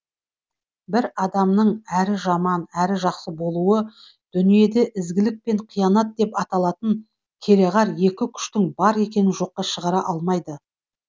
бір адамның әрі жаман әрі жақсы болуы дүниеде ізгілік пен қиянат деп аталатын кереғар екі күштің бар екенін жоққа шығара алмайды